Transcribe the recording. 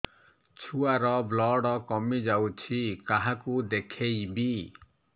ଛୁଆ ର ବ୍ଲଡ଼ କମି ଯାଉଛି କାହାକୁ ଦେଖେଇବି